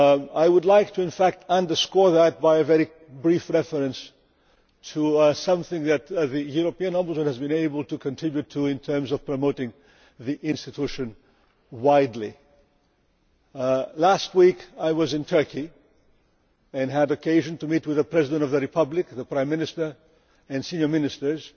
I would like to underscore that by a very brief reference to something that the European Ombudsman has been able to continue to do in terms of widely promoting the institution. Last week I was in Turkey and had occasion to meet with the President of the Republic, the Prime Minister and senior ministers